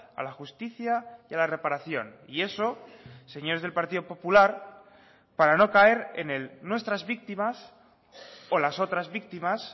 a la justicia y a la reparación y eso señores del partido popular para no caer en el nuestras víctimas o las otras víctimas